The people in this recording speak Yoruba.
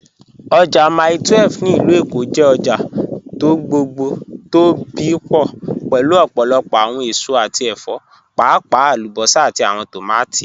Ojá Mílè 12 (ilù Èkó) jẹ́ ọ̀jà tó gbogbo tó bí pọ̀ pẹ̀lú ọ̀pọ̀lọ̀pọ̀ awọn èsò àti ẹ̀fọ̀, páàpàá alúbọ́sà àti awọn tómátí